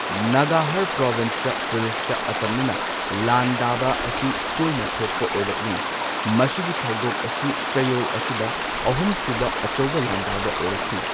ꯅꯒꯍꯔ ꯄ꯭ꯔꯣꯚꯤꯟꯁꯇ ꯄꯨꯂꯤꯁꯇ ꯑꯇꯝꯅꯅ ꯂꯥꯟꯗꯥꯕ ꯑꯁꯤ ꯇꯣꯏꯅ ꯊꯣꯛꯄ ꯑꯣꯏꯔꯛꯂꯤ ꯃꯁꯤꯒꯤ ꯊꯧꯗꯣꯛ ꯑꯁꯤ ꯆꯌꯣꯜ ꯑꯁꯤꯗ ꯑꯍꯨꯝꯁꯨꯕ ꯑꯆꯧꯕ ꯂꯥꯟꯗꯥꯕ ꯑꯣꯏꯔꯛꯈꯤ꯫